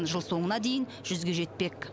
жыл соңына дейін жүзге жетпек